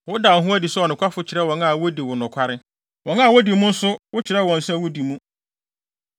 “Woda wo ho adi sɛ ɔnokwafo kyerɛ wɔn a wodi nokware, wɔn a wodi mu nso wo kyerɛ wɔn sɛ wodi mu.